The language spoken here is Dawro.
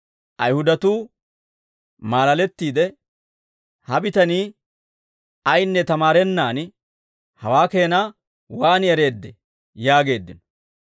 Ayihudatuu maalalettiide, «Ha bitanii ayinne tamaarennaan hawaa keena waan ereeddee?» yaageeddino.